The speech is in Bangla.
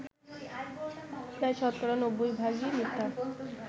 প্রায় শতকরা ৯০ ভাগই মিথ্যা